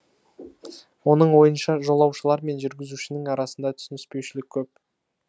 оның ойынша жолаушылар мен жүргізушінің арасында түсініспеушілік көп